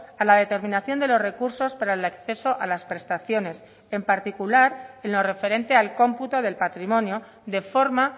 a la determinación de los recursos para el acceso a las prestaciones en particular en lo referente al cómputo del patrimonio de forma